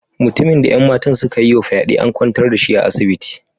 Mutumin da 'yan matan suka yi wa fyade, an kwantar da shi a asibiti.